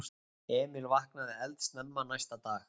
Emil vaknaði eldsnemma næsta dag.